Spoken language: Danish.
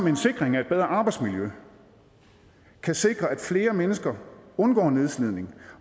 en sikring af et bedre arbejdsmiljø kan sikre at flere mennesker undgår nedslidning